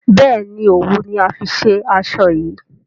béèni òwú ni a fí ṣe aṣọ yí.